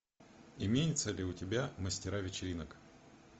имеется ли у тебя мастера вечеринок